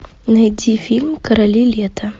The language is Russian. найди фильм короли лета